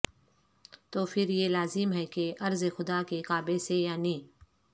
تو پھر یہ لازم ہے کہ ارض خدا کے کعبے سے یعنی